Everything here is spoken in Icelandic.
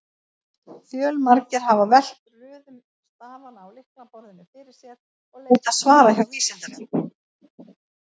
Fjölmargir hafa velt röðun stafanna á lyklaborðinu fyrir sér og leitað svara hjá Vísindavefnum.